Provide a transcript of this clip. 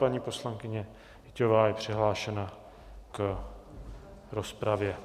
Paní poslankyně Hyťhová je přihlášena v rozpravě.